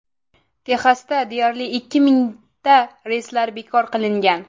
Texasda deyarli ikki mingta reyslar bekor qilingan.